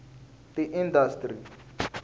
tiindastri